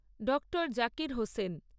Dr Zakir Hossain